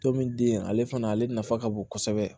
Tomi den ale fana ale nafa ka bon kosɛbɛ